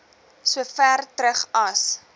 sover terug as